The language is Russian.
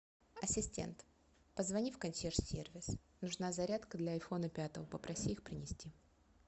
ассистент позвони в консьерж сервис нужна зарядка для айфона пятого попроси их принести